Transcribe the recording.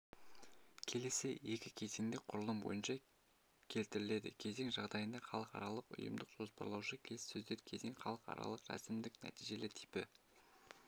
келесі екі кезеңдік құрылым бойынша келтіріледі кезең жағдайында халықаралық ұйымдық-жоспарлаушы келіссөздер кезең халықаралық рәсімдік нәтижелі типі